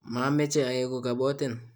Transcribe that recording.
mameche aeku kabotin